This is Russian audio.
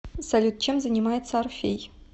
салют чем занимается орфей